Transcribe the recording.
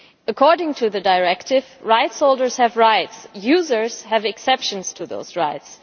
According to the Directive, rights holders have rights and users have exceptions to those rights.